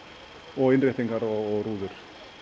og innréttingar og rúður